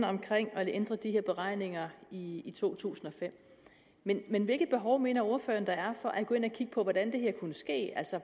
og ændre de her beregninger i i to tusind og fem men men hvilket behov mener ordføreren der er for at gå ind og kigge på hvordan det her kunne ske